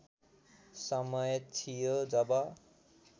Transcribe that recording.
समय थियो जब